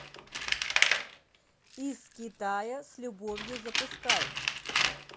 из китая с любовью запускай